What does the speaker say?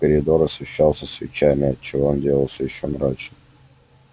коридор освещался свечами отчего он делался ещё мрачнее